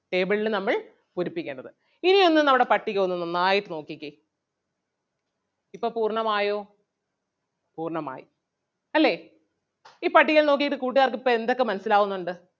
table ല് നമ്മൾ പൂരിപ്പിക്കണം ഇനി ഒന്ന് നമ്മുടെ പട്ടിക ഒന്ന് നന്നായിട്ട് നോക്കിക്കേ ഇപ്പം പൂർണ്ണം ആയോ പൂർണ്ണം അല്ലേ ഈ പട്ടികയിൽ നോക്കിയാൽ കൂട്ടുകാർക്ക് ഇപ്പൊ എന്തൊക്കെ മനസ്സിലാവുന്നുണ്ട്.